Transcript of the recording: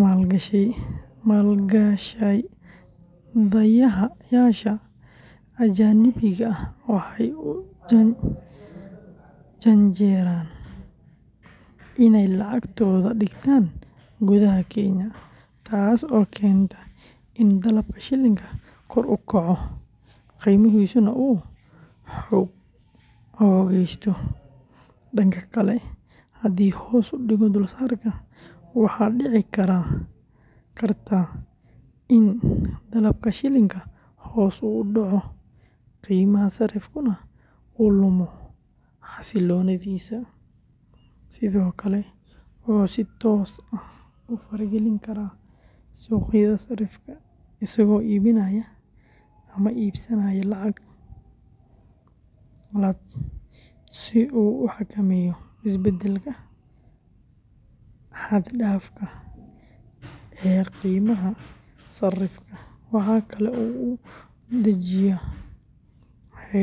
maalgashadayaasha ajnabiga ah waxay u janjeeraan inay lacagtooda dhigtaan gudaha Kenya, taasoo keenta in dalabka shilling-ka kor u kaco, qiimihiisuna uu xoogaysto. Dhanka kale, haddii hoos u dhigo dulsaarka, waxaa dhici karta in dalabka shilling-ka hoos u dhaco, qiimaha sarrifkuna uu lumo xasiloonidiisa. Sidoo kale, wuxuu si toos ah u fara-gelin karaa suuqa sarrifka isagoo iibinaya ama iibsanaya lacag qalaad si uu u xakameeyo isbeddelka xad-dhaafka ah ee qiimaha sarrifka. Waxa kale oo uu dejiyo xeerar.